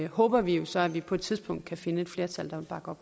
håber vi jo så at vi på et tidspunkt kan finde flertal